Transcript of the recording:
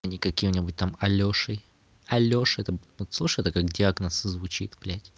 а не каким-нибудь там алёшей алёша вот слушай это как диагноз звучит блядь